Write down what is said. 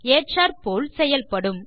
ஏற்றாற்போல் செயல்படும்